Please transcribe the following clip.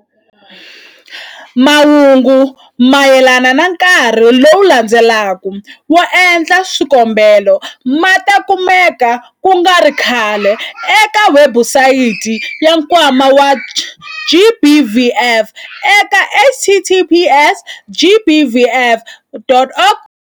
Mahungu mayelana na nkarhi lowu landzelaka wo endla swikombelo ma ta kumeka ku nga ri khale eka webusayiti ya Nkwama wa GBVF eka- https- gbvf.org.za.